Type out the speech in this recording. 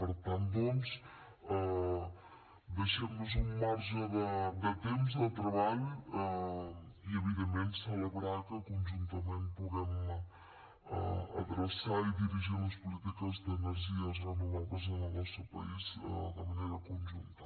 per tant doncs deixem nos un marge de temps de treball i evidentment celebrar que conjuntament puguem adreçar i dirigir les polítiques d’energies renovables en el nostre país de manera conjunta